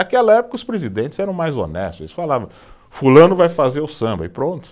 Naquela época os presidentes eram mais honestos, eles falavam, fulano vai fazer o samba e pronto.